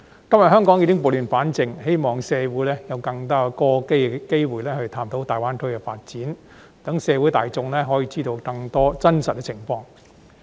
今天香港已經撥亂反正，希望社會有更多機會探討大灣區的發展，讓社會大眾可以知道更多真實情況。